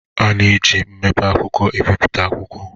A na-eji mpempe akwụkwọ ebipụta akwụkwọ